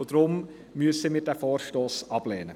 Deshalb müssen wir diesen Vorstoss ablehnen.